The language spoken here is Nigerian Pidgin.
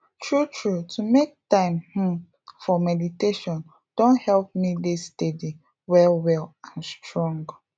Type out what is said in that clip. true true to make time um for meditation don help me dey steady well well and strong